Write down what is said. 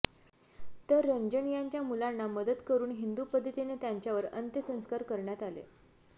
तर रंजन यांच्या मुलांना मदत करून हिंदू पद्धतीने त्यांच्यावर अंत्यसंस्कार करण्यात आले